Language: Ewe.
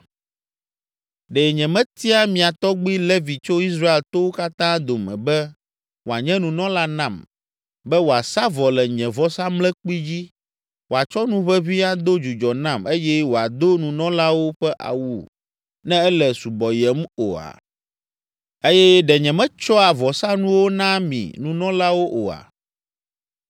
Ɖe nyemetia mia tɔgbi Levi tso Israel towo katã dome be wòanye nunɔla nam, be wòasa vɔ le nye vɔsamlekpui dzi, wòatsɔ nu ʋeʋĩ ado dzudzɔ nam eye wòado nunɔlawo ƒe awu ne ele subɔyem oa? Eye ɖe nyemetsɔa vɔsanuwo naa mi nunɔlawo oa?